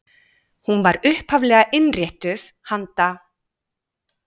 Hún var upphaflega innréttuð handa